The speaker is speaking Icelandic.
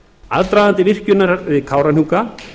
aðdragandi virkjunar við kárahnjúka